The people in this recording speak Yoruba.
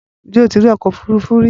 Ǹjẹ́ o ti rí ọkọ òfúrufú rí?